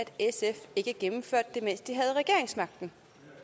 sf ikke gennemførte det mens de havde regeringsmagten